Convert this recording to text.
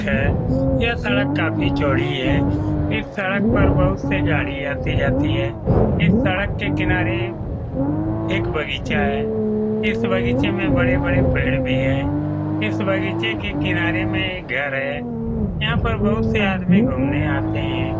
थे यह सड़क काफी चौड़ी है इस सड़क पे बहुत से गाड़ी आती जाती है इस सड़क के किनारे एक बगीचा है इस बगीचे में बड़े-बड़े पेड़ भी है इस बगीचे के किनारे में एक घर है यहाँ पर बोहोत से आदमी घुमने आते हैं।